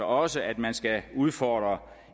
også at man skal udfordre